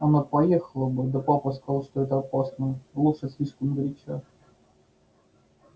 она поехала бы да папа сказал что это опасно лошадь слишком горяча